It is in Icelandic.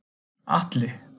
Atli